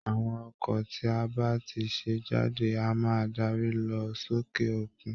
Àwọn ọkọ̀ tí a bá ti ṣe jáde á máa dárí lọ sókè òkun